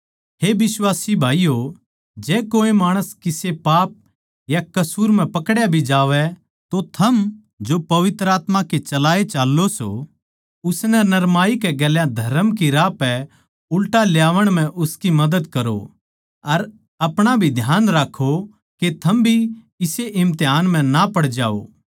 हे बिश्वास भाईयो जै कोऐ माणस किसे पाप या कसूर म्ह पकड्या भी जावै तो थम जो पवित्र आत्मा के चलाए चाल्लों सों उसनै नरमाई के गेल्या धरम की राह पै उल्टा ल्यावण म्ह उसकी मदद करो अर अपणा भी ध्यान राक्खों के थम भी इसे इम्तिहान म्ह ना पड़ जाओ